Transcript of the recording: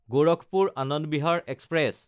গোৰখপুৰ–আনন্দ Bihar express